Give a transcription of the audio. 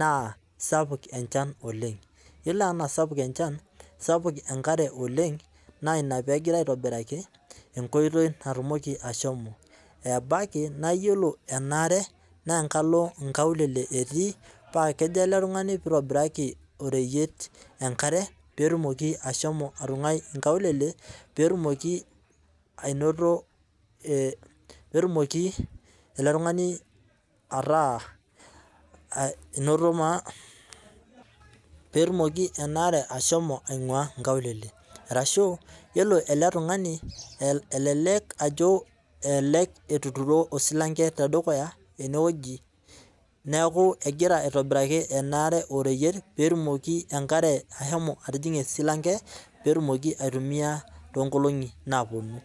naa sapuk enchan oleng ,yiolo anaa sapuk enchan naa sapuk enkare oleng naa inaa pee engirae aitobiraki enkoitoi peyie etum ashomo .ebaiki naa yiolo ena are naa enkalo inkaulele etii paa kejo ele tungani peyie eitobiraki oreyiet enkare pee etumoki ashomo atunguai inkaulele .orashu yiolo ele tungani elelek ajo elelek etuturo osilanke tedukuya eneweji neeku egira aitobiraki ena are oreyiet pee etumoki enare ashomo atijinga esilanke pee etumoki aitumiyia toonkolongi naaponu.